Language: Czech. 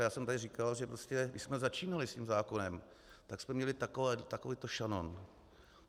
A já jsem tady říkal, že prostě když jsme začínali s tím zákonem, tak jsme měli takovýto šanon.